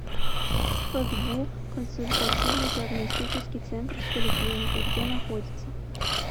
фгбу консультативно диагностический центр с поликлиникой где находится